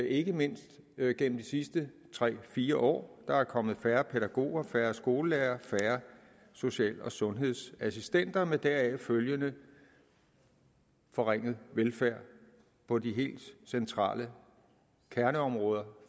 ikke mindst gennem de sidste tre fire år der er kommet færre pædagoger færre skolelærerne og færre social og sundhedsassistenter med deraf følgende forringet velfærd på de helt centrale kerneområder